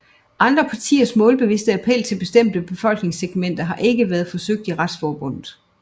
Andre partiers målbevidste appel til bestemte befolkningssegmenter har ikke været forsøgt af Retsforbundet